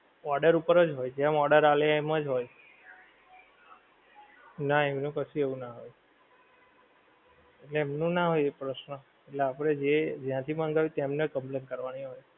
Order ઉપર જ હોય જેમ order આલે એમજ હોય. નાં એમનું કશું એવું નાં હોય. એમનું નાં હોય એ પ્રશ્ન, એટલે આપડે જે જ્યાંથી મંગાવ્યું છે તેમને complaint કરવાની હોય.